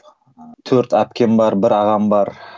ы төрт әпкем бар бір ағам бар